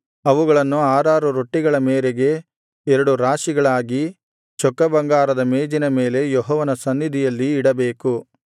ಅವುಗಳನ್ನು ಆರಾರು ರೊಟ್ಟಿಗಳ ಮೇರೆಗೆ ಎರಡು ರಾಶಿಗಳಾಗಿ ಚೊಕ್ಕಬಂಗಾರದ ಮೇಜಿನ ಮೇಲೆ ಯೆಹೋವನ ಸನ್ನಿಧಿಯಲ್ಲಿ ಇಡಬೇಕು